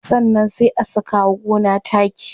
Sannan sai a saka wa gona taki.